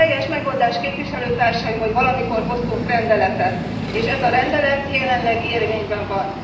A helyes megoldás képviselőtársaim, hogy valamikor hoztunk egy rendeletet, és ez a rendelet jelenleg érvényben van.